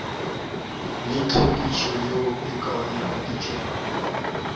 le tlhwekišo yeo e kaonafaditšwego